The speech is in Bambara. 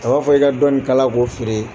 A b'a fɔ i ka dɔ nin kala k'o feere